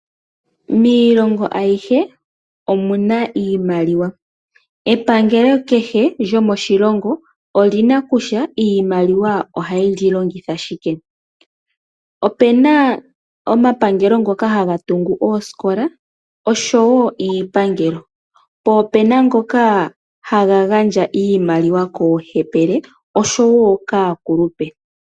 Miilongo ayihe omu na iimaliwa, epangelo kehe lyomoshilongo oli na kutya iimaliwa ohaye li longitha shike. Opu na omapangelo ngoka haga tungu oosikola osho wo iipangelo, po opu na ngoka haga gandja iimaliwa koohepele osho wo kaakulupe.